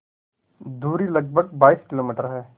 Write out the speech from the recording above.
दूरी लगभग बाईस किलोमीटर है